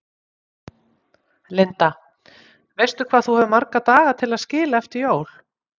Linda: Veistu hvað þú hefur marga daga til að skila eftir jól?